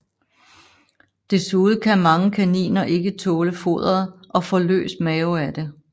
Desuden kan mange kaniner ikke tåle foderet og får løs mave af det